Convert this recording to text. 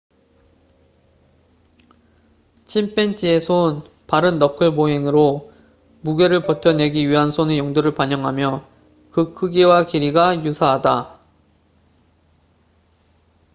침팬지의 손 발은 너클 보행으로 무게를 버텨내기 위한 손의 용도를 반영하며 그 크기와 길이가 유사하다